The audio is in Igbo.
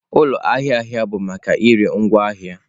Ụlọ ahịa ahịa bụ maka ire ngwaahịa